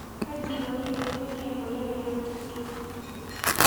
Kaji eikoni tenejungi emoyian e Huntington?